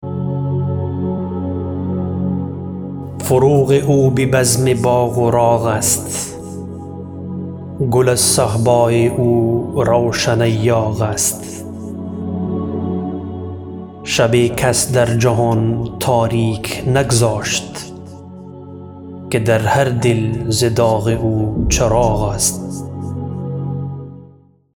فروغ او به بزم باغ و راغ است گل از صهبای او روشن ایاغ است شب کس در جهان تاریک نگذاشت که در هر دل ز داغ او چراغ است